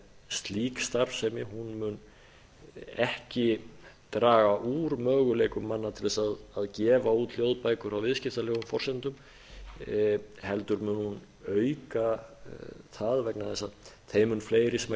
slík starfsemi mun ekki draga möguleikum manna til að gefa út hljóðbækur á viðskiptalegum forsendum heldur mun hún auka það vegna þess að þeim mun fleiri sem